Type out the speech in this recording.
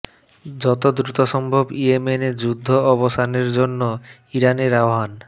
যত দ্রুত সম্ভব ইয়েমেনে যুদ্ধ অবসানের জন্য ইরানের আহ্বান